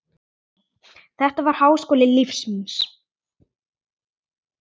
Þetta var háskóli lífs míns.